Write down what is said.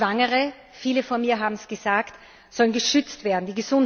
Schwangere, viele vor mir haben es gesagt, sollen geschützt werden.